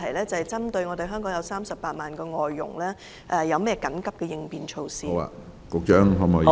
針對香港的38萬名外傭，請問有何緊急應變措施？